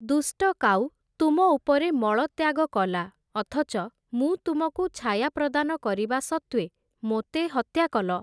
ଦୁଷ୍ଟ କାଉ ତୁମ ଉପରେ ମଳତ୍ୟାଗ କଲା ଅଥଚ ମୁଁ ତୁମକୁ ଛାୟା ପ୍ରଦାନ କରିବା ସତ୍ତ୍ୱେ ମୋତେ ହତ୍ୟାକଲ ।